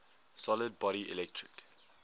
solid body electric